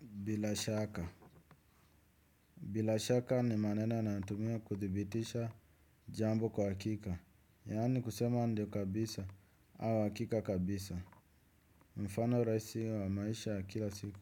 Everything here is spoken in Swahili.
Bila shaka. Bila shaka ni maneno yanatumiwa kuthibitisha jambo kwa hakika. Yaani kusema ndio kabisa au hakika kabisa. Mfano rahisi wa maisha kila siku.